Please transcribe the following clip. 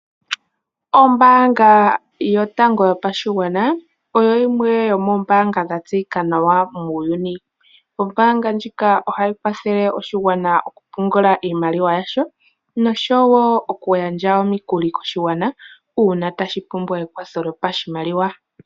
Ombaanga yotango yopashigwana oyo yimwe yomoombanga dha tseyika nawa muuyuni. Ombaanga ndjika ohayi kwathele oshigwana mokupungula iimaliwa yasho nosho wo okugandja omikuli koshigwana uuna tashi pumbwa ekwatho lyopashimaliwa.